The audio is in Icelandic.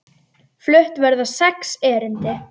Flutt verða sex erindi.